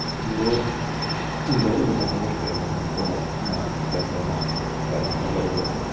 но дорого потому что я посмотрел на пятое марта поэтому дорого